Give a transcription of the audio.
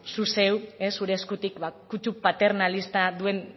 zu zeu zure eskutik kutsu paternalista duen